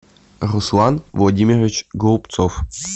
руслан владимирович голубцов